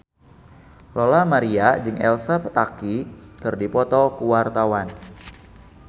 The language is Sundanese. Lola Amaria jeung Elsa Pataky keur dipoto ku wartawan